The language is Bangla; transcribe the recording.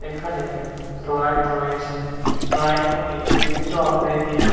এখানে স্লাইড রয়েছে স্লাইডগুলি বিভিন্ন আকৃতির।